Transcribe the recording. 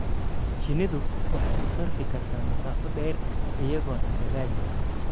Shinnidu waxay u safri kartaa masaafo dheer iyagoo cunto raadis ah.